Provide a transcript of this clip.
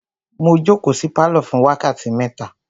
Mo jókòó sí pálọ̀ fún wákàtí mẹ́ta.